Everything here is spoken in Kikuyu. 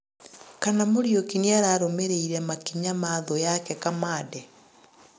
Kana Muriuki nĩararũmĩrĩire makĩnya ma 'thu' yake Kamande